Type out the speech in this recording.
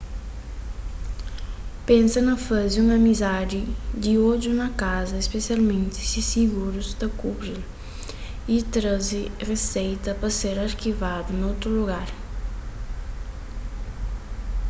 pensa na faze un izami di odju na kaza spesialmenti si sigurus ta kubri-l y traze riseita pa ser arkivadu na otu lugar